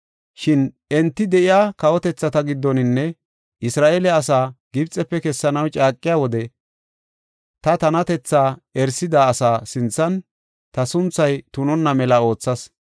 Shin enti de7iya kawotethata giddoninne Isra7eele asaa Gibxefe kessanaw caaqiya wode ta tanatethaa erisida asaa sinthan ta sunthay tunonna mela oothas.